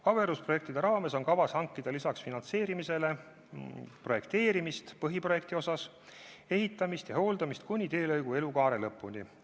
Averuse raames on peale finantseerimise kavas hankida ka põhiprojekti koostamine, teelõigu ehitamine ja selle hooldamine kuni teelõigu elukaare lõpuni.